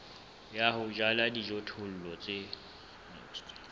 ya ho jala dijothollo tse